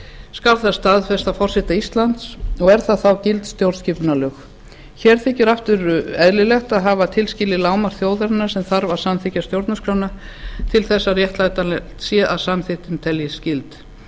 skal það staðfest af forseta íslands og verður þá gild stjórnarskipunarlög hér þykir aftur eðlilegt að hafa tilskilið lágmark þjóðarinnar sem þarf að samþykkja stjórnarskrána til þess að réttlætanlegt sé að samþykktin teljist gild